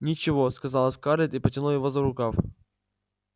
ничего сказала скарлетт и потянула его за рукав